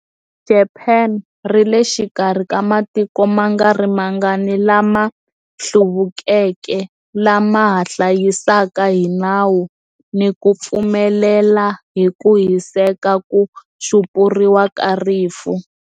Japani ri le xikarhi ka matiko ma nga ri mangani lama hluvukeke lama ha hlayisaka hi nawu ni ku pfumelela hi ku hiseka ku xupuriwa ka rifu.